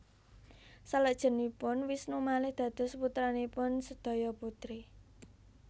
Saklajengipun Wisnu malih dados putranipun sedaya putri